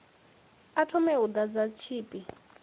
a thome u ḓadza tshipi